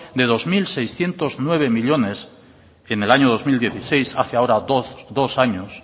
de dos mil seiscientos nueve millónes en el año dos mil dieciséis hace ahora dos años